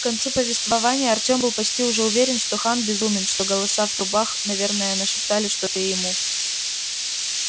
к концу повествования артём был почти уже уверен что хан безумен что голоса в трубах наверное нашептали что-то и ему